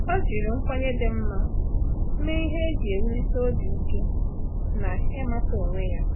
Ọ́ jìrì nkwenye dị mma mee ihe iji wùlíté obi ike na ị́màtà onwe ya.